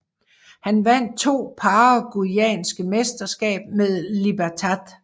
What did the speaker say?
Han vandt to paraguayanske mesterskab med Libertad